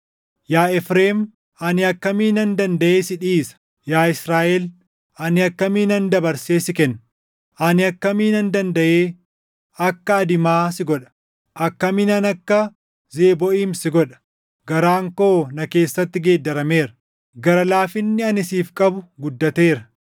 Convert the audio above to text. “Yaa Efreem ani akkamiinan dandaʼee si dhiisa? Yaa Israaʼel ani akkamiinan dabarsee si kenna? Ani akkamiinan dandaʼee akka Adimaa si godha? Akkamiinan akka Zebooʼiim si godha? Garaan koo na keessatti geeddarameera; gara laafinni ani siif qabu guddateera.